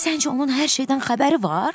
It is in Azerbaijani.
Səncə onun hər şeydən xəbəri var?